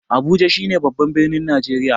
Abuja shi ne babban birni na Najeriya.